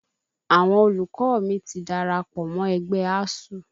Àwọn olùkọ́ mi ti darapọ̀ mọ ẹgbẹ́ ASUU